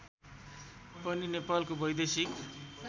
पनि नेपालको वैदेशिक